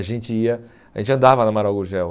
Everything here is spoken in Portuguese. A gente ia a gente andava na Amaral Gurgel.